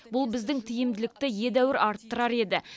бұл біздің тиімділікті едәуір арттырар еді